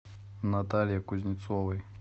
наталье кузнецовой